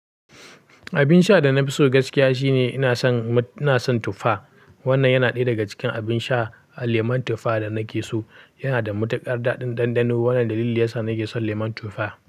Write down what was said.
Abin sha da na fi so gaskiya shine ina son, ina son tuffa. Wannan yana ɗaya daga cikin abin sha, lemon tuffa da nake so. Yana da matuƙar daɗin ɗanɗano. Wannan dalilin yasa nake son lemun tuffa.